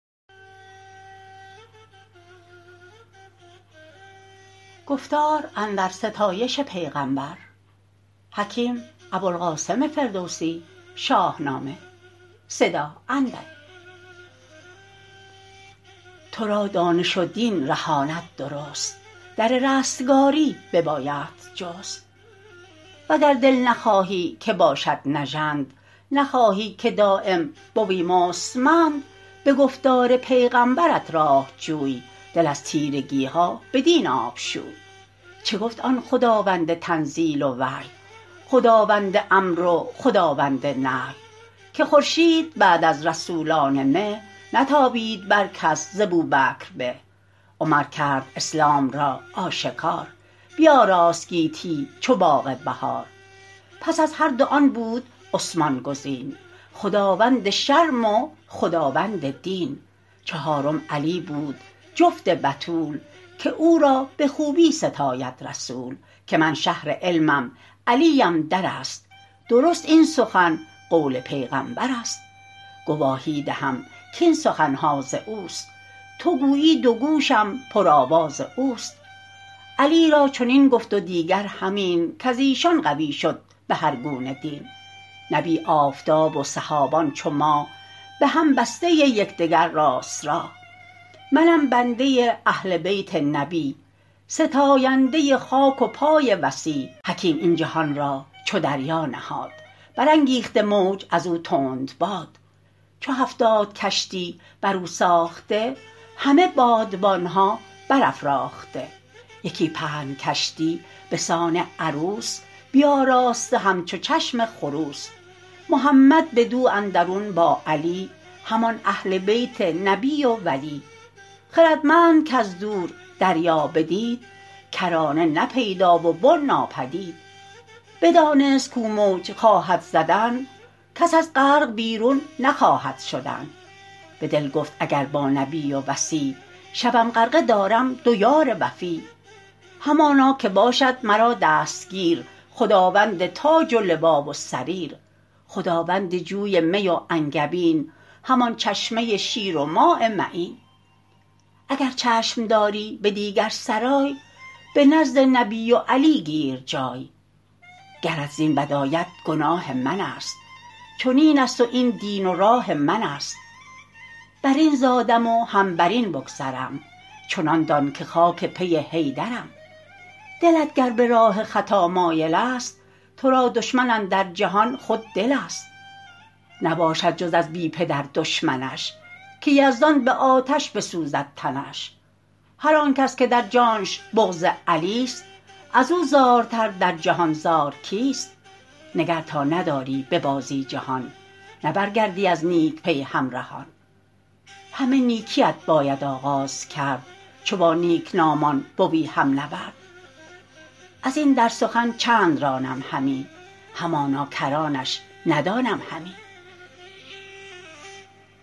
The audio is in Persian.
تو را دانش و دین رهاند درست در رستگاری ببایدت جست وگر دل نخواهی که باشد نژند نخواهی که دایم بوی مستمند به گفتار پیغمبرت راه جوی دل از تیرگی ها بدین آب شوی چه گفت آن خداوند تنزیل و وحی خداوند امر و خداوند نهی که خورشید بعد از رسولان مه نتابید بر کس ز بوبکر به عمر کرد اسلام را آشکار بیاراست گیتی چو باغ بهار پس از هر دو آن بود عثمان گزین خداوند شرم و خداوند دین چهارم علی بود جفت بتول که او را به خوبی ستاید رسول که من شهر علمم علیم در است درست این سخن قول پیغمبر است گواهی دهم کاین سخن ها از اوست تو گویی دو گوشم پر آواز اوست علی را چنین گفت و دیگر همین کز ایشان قوی شد به هر گونه دین نبی آفتاب و صحابان چو ماه به هم بسته یک دگر راست راه منم بنده اهل بیت نبی ستاینده خاک پای وصی حکیم این جهان را چو دریا نهاد برانگیخته موج از او تندباد چو هفتاد کشتی بر او ساخته همه بادبان ها بر افراخته یکی پهن کشتی به سان عروس بیاراسته همچو چشم خروس محمد بدو اندرون با علی همان اهل بیت نبی و ولی خردمند کز دور دریا بدید کرانه نه پیدا و بن ناپدید بدانست کو موج خواهد زدن کس از غرق بیرون نخواهد شدن به دل گفت اگر با نبی و وصی شوم غرقه دارم دو یار وفی همانا که باشد مرا دستگیر خداوند تاج و لوا و سریر خداوند جوی می و انگبین همان چشمه شیر و ماء معین اگر چشم داری به دیگر سرای به نزد نبی و علی گیر جای گرت زین بد آید گناه من است چنین است و این دین و راه من است بر این زادم و هم بر این بگذرم چنان دان که خاک پی حیدرم دلت گر به راه خطا مایل است تو را دشمن اندر جهان خود دل است نباشد جز از بی پدر دشمنش که یزدان به آتش بسوزد تنش هر آنکس که در جانش بغض علی ست از او زارتر در جهان زار کیست نگر تا نداری به بازی جهان نه برگردی از نیک پی همرهان همه نیکی ات باید آغاز کرد چو با نیک نامان بوی هم نورد از این در سخن چند رانم همی همانا کرانش ندانم همی